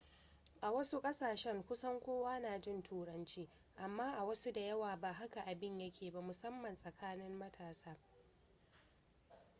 a wasu kasashen kusan kowa na jin turanci amma a wasu da yawa ba haka abin ya ke ba musamman tsakanin matasa